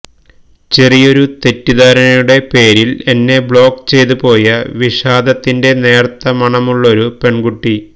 ചെറിയൊരു തെറ്റിദ്ധാരണയുടെ പേരില് എന്നെ ബ്ലോക്ക് ചെയ്ത് പോയ വിഷാദത്തിന്റെ നേര്ത്ത മണമുള്ളൊരു പെണ്കുട്ടി